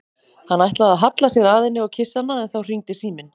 Hann ætlaði að halla sér að henni og kyssa hana en þá hringdi síminn.